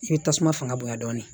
I bɛ tasuma fanga bonyan dɔɔnin